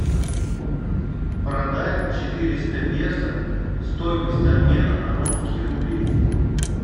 продать четыреста песо стоимость обмена на русские рубли